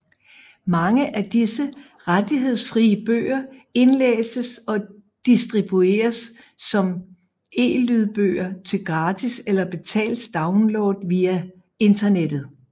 Mange af disse rettighedsfrie bøger indlæses og distribueres som elydbøger til gratis eller betalt download via internettet